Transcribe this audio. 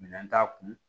Minɛn t'a kun